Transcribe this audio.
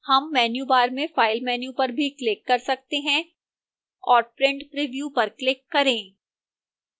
हम menu bar में file menu पर भी click कर सकते हैं और print preview पर click करें